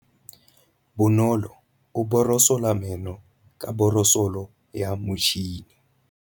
Bonolô o borosola meno ka borosolo ya motšhine.